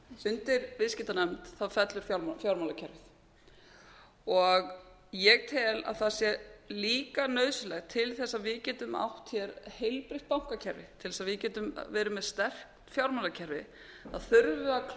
undir viðskiptanefnd fellur fjármálakerfið ég tel að það sé líka nauðsynlegt til þess að við getum átt hér heilbrigt bankakerfi til þess að við getum verið með sterkt fjármálakerfi þurfum við að